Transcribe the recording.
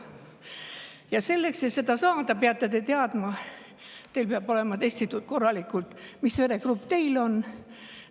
Ja selleks, et seda saada, peab olema korralikult testitud, mis veregrupp teil on.